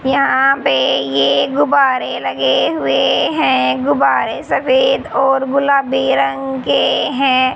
यहां पे ये गुब्बारे लगे हुए हैं गुब्बारे सफेद और गुलाबी रंग के हैं।